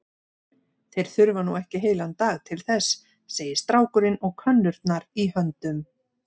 Þeir þurfa nú ekki heilan dag til þess, segir strákurinn og könnurnar í höndum